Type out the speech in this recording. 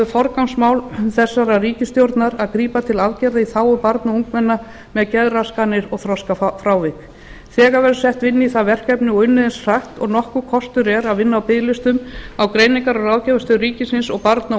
forgangsmál þeirrar ríkisstjórnar að grípa til aðgerða í þágu barna og ungmenna með geðraskanir og þroskafrávik þegar verður sett vinna í það verkefni og unnið eins hratt og nokkur kostur er að vinna á biðlistum á greiningar og ráðgjafarstöð ríkisins og barna og